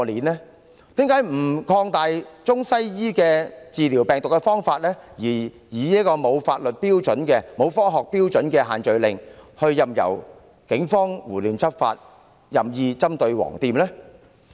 為甚麼不擴大中、西醫治療病毒的方法，而以沒有科學標準的限聚令，任由警方胡亂執法，任意針對"黃店"呢？